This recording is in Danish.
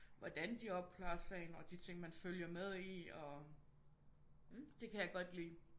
Hvordan de opklarer sagen og de ting man følger med i og